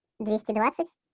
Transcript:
двести двадцать